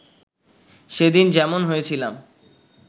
সেদিন যেমন হয়েছিলাম